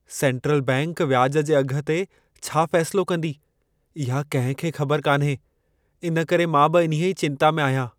Central bank व्याज जे अघ ते छा फ़ैसिलो कंदी, इहा कंहिं खे ख़बर कान्हे। इन करे मां बि इन्हीअ चिंता में आहियां।